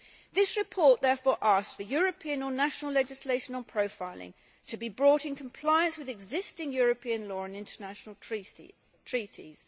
This report therefore asks for European or national legislation on profiling to be brought in compliance with existing European law and international treaties.